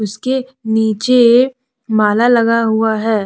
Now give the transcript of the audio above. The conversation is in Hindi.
इसके नीचे माला लगा हुआ है।